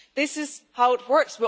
This is how it works.